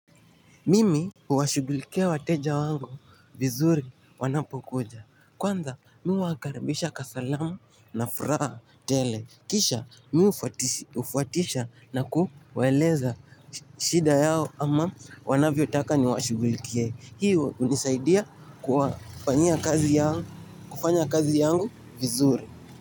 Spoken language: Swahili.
Mimi uwashugulikia wateja wangu vizuri wanapokuja. Kwanza mi uwakarabisha kasalama na furaha tele. Kisha mi ufuatisha na kuwaeleza shida yao ama wanavyotaka niwashugulikea. Hiyo unisaidia kwa fanyia kazi yao kufanya kazi yangu vizuri.